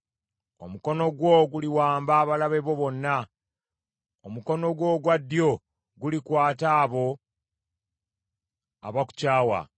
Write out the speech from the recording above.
Omukono gwo guliwamba abalabe bo bonna; omukono gwo ogwa ddyo gulikwata abo abakukyawa.